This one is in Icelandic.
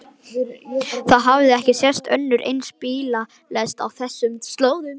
Það hafði ekki sést önnur eins bílalest á þessum slóðum.